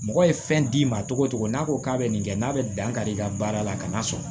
Mɔgɔ ye fɛn d'i ma cogo o cogo n'a ko k'a bɛ nin kɛ n'a bɛ dankari i ka baara la ka n'a sɔrɔ